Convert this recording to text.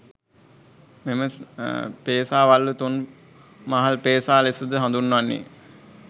මෙම පේසා වළලු තුන් මහල් පේසා ලෙසද හඳුන්වන්නේ